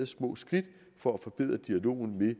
små skridt for at forbedre dialogen med